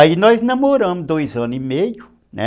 Aí nós namoramos dois anos e meio, né?